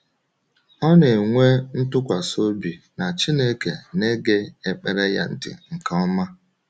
Ọ na-enwe ntụkwasị obi na Chineke na-ege ekpere ya ntị nke ọma.